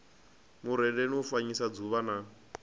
murendi u fanyisa dzuvha na